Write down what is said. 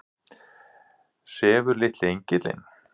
Sefur litli engillinn?